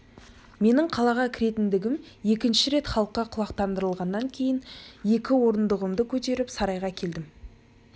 менің қалаға кіретіндігім екінші рет халыққа құлақтандырылғаннан кейін екі орындығымды көтеріп сарайға келдім